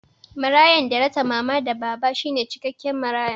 Marayan da ya rasa mama da baba shine cikakken maraya